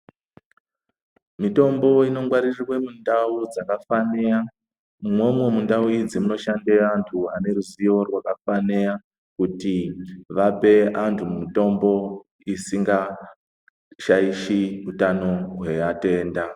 Mitombo inongwaririrwe mundau dzakafaniya imwomwo mundau idzi munoshandira antu aneruzivo rwakakwaniya. Kuti vape antu mutombo isikangashaishi utano hweatenda.